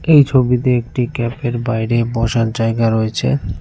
এই ছবিতে একটি ক্যাফের বাইরে বসার জায়গা রয়েছে।